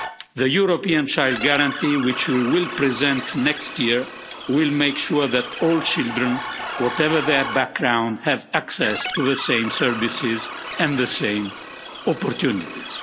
The European Child Guarantee, which we will present next year, will make sure that all children, whatever their background, have access to the same services and the same opportunities.